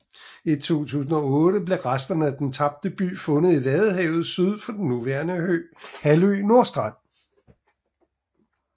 I 2008 blev resterne af den tabte by fundet i vadehavet syd for den nuværende halvø Nordstrand